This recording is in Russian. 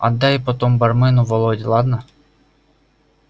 отдай потом бармену володе ладно